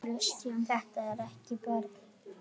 Þetta er ekki fyrir börn.